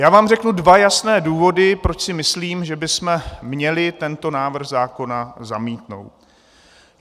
Já vám řeknu dva jasné důvody, proč si myslím, že bychom měli tento návrh zákona zamítnout.